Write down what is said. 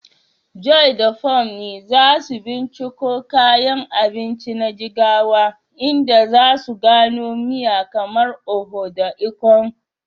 Joy da Funmi za su binciko kayan abinci na Jigawa, inda za su gano miya kamar Oha da Ikong.